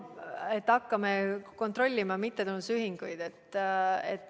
Me hakkame kontrollima mittetulundusühinguid.